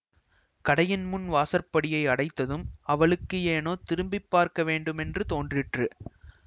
கடையின் முன் வாசற்படியை அடைத்ததும் அவளுக்கு ஏனோ திரும்பி பார்க்க வேண்டுமென்று தோன்றிற்று